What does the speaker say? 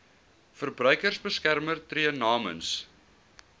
verbruikersbeskermer tree namens